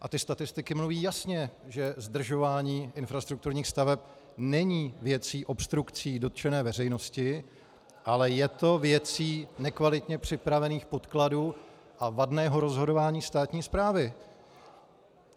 A ty statistiky mluví jasně, že zdržování infrastrukturních staveb není věcí obstrukcí dotčené veřejnosti, ale je to věcí nekvalitně připravených podkladů a vadného rozhodování státní správy.